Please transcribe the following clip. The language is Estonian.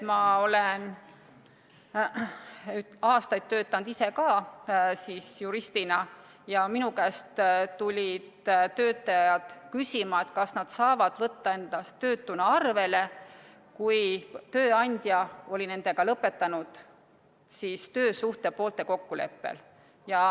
Ma olen aastaid ka ise juristina töötanud ja minu käest tulid töötajad küsima, kas nad saavad võtta ennast töötuna arvele, kui tööandja oli nendega lõpetanud töösuhte poolte kokkuleppel.